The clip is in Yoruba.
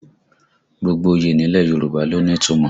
Gbogbo oyè nílẹ̀ Yorùbá ló ní ìtumọ̀